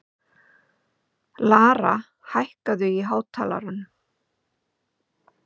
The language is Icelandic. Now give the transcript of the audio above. Lara, hækkaðu í hátalaranum.